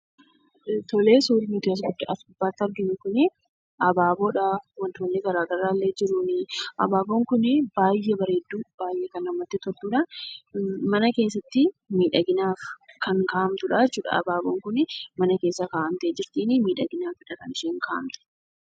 Suurri as gubbaatti arginu kun abaaboodha wantoonni garaagaraa illee jiru. Abaaboon kun baay'ee bareedduu baay'ee kan namatti toludha. Mana keessatti miidhaginaaf kan kaa'amtudha jechuudha abaaboon kun. Mana keessa miidhaginaaf kaawwamtee jirti miidhaginaafidha kan isheen kaa'amtee.